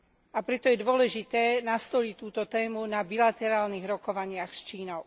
A preto je dôležité nastoliť túto tému na bilaterálnych rokovaniach s Čínou.